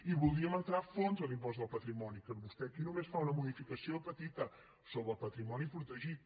i voldríem entrar a fons en l’impost del patrimoni que vostè aquí només fa una modificació petita sobre el patrimoni protegit